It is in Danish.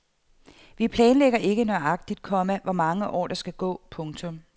Vi planlægger ikke nøjagtigt, komma hvor mange år der skal gå. punktum